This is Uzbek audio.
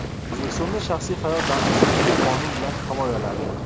O‘zbekistonda shaxsiy hayot daxlsizligi qonun bilan himoyalandi.